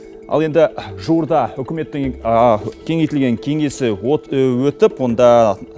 ал енді жуырда үкіметтің кеңейтілген кеңесі өтіп онда